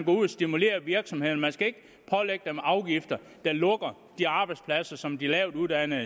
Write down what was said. ud og stimulere virksomhederne man skal ikke pålægge dem afgifter der lukker de arbejdspladser som de lavtuddannede